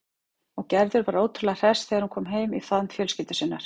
Og Gerður var ótrúlega hress þegar hún kom heim í faðm fjölskyldu sinnar.